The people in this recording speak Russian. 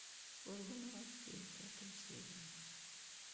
служба новостей пятая серия